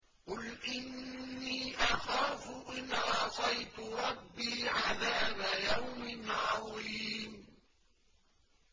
قُلْ إِنِّي أَخَافُ إِنْ عَصَيْتُ رَبِّي عَذَابَ يَوْمٍ عَظِيمٍ